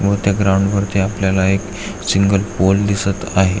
व त्या ग्राउंड वरती आपल्याला एक सिंगल पोल दिसत आहे.